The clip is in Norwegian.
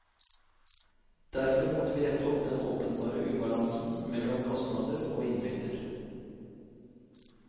Derfor måtte vi rette opp den åpenbare ubalansen mellom kostnader og inntekter.